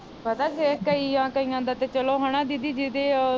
ਪਤਾ ਕਈਆਂ ਕਈਆਂ ਦਾ ਤੇ ਚਲੋ ਹਨਾ ਦੀਦੀ ਜਿਦੇ